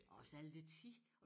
Og også alt det tid